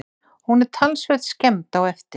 Hún er talsvert skemmd á eftir